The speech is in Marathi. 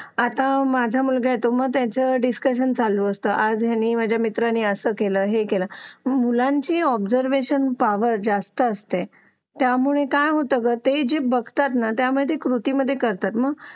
आता माझा मुलगा आहे तो त्याचा डिस्कशन चालू असतं मी आज असं केलं हे केलं की मुलांच्या ऑब्झर्वेशन पावर जास्त असते त्यामुळे काय होतं ते जे बघतात ना त्या कृतीमध्ये करतात